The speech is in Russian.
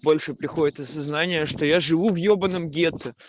больше приходит осознание что я живу в ёбаном гетто